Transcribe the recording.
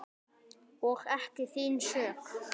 Og ekki þín sök.